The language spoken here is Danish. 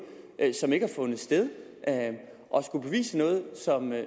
som ikke havde fundet sted og skulle bevise noget